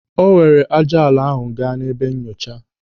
O were ájá ala ahụ gaa n'ebe nyochaa.